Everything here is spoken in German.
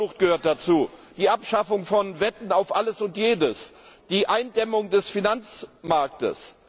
Steuerflucht gehört dazu, die Abschaffung von Wetten auf alles und jedes und die Eindämmung des Finanzmarktes.